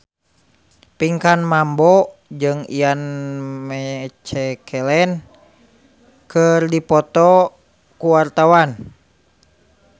Pinkan Mambo jeung Ian McKellen keur dipoto ku wartawan